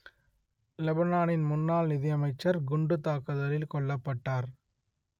லெபனானின் முன்னாள் நிதி அமைச்சர் குண்டுத் தாக்குதலில் கொல்லப்பட்டார்